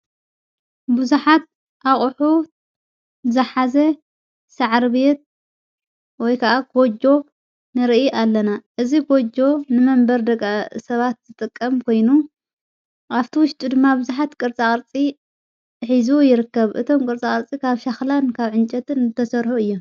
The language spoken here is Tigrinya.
ብዙኃት ኣቕሑ ዝሓዘ ሠዓሪቤት ወይ ከዓ ጐጆ ንርኢ ኣለና እዝ ጐጎ ንመንበር ደቓ ሰባት ዝጠቀም ኮይኑ ኣፍቲ ውሽጡ ድማ ብዙኃት ቅርፃቕርፂ ኂዙ ይርከብ እቶም ቅርፃኣርፂ ካብ ሻኽላን ካብ ዕንጨትን እተሠርሑ እየ::